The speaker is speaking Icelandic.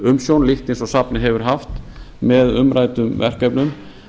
umsjón líkt eins og safnið hefur haft með umræddum verkefnum